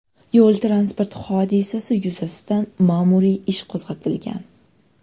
Yo‘l-transport hodisasi yuzasidan ma’muriy ish qo‘zg‘atilgan.